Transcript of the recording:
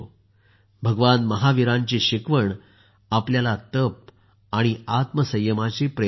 भगवान महावीरांची शिकवण आपल्याला तप आणि आत्मसंयमाची प्रेरणा देते